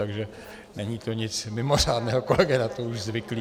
Takže není to nic mimořádného, kolega je už na to zvyklý.